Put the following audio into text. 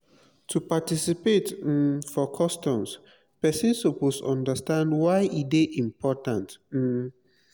to participate um for customs persin suppose understand why e de important um